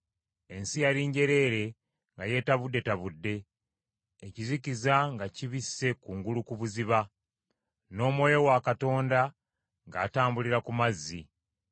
Ensi yali njereere nga yeetabuddetabudde, ekizikiza nga kibisse kungulu ku buziba, n’Omwoyo wa Katonda ng’atambulira ku mazzi.